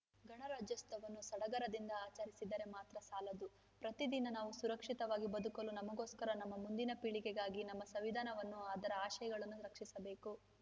ಗಣರಾಜ್ಯೋತ್ಸವವನ್ನು ಸಡಗರದಿಂದ ಆಚರಿಸಿದರೆ ಮಾತ್ರ ಸಾಲದು ಪ್ರತಿದಿನ ನಾವು ಸುರಕ್ಷಿತವಾಗಿ ಬದುಕಲು ನಮಗೋಸ್ಕರ ನಮ್ಮ ಮುಂದಿನ ಪೀಳಿಗೆಗಾಗಿ ನಮ್ಮ ಸಂವಿಧಾನವನ್ನು ಅದರ ಆಶಯಗಳನ್ನು ರಕ್ಷಿಸಬೇಕು